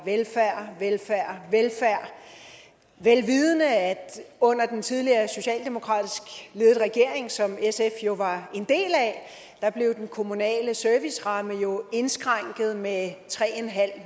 velfærd velfærd vel vidende at under den tidligere socialdemokratisk ledede regering som sf jo var en del af blev den kommunale serviceramme indskrænket med tre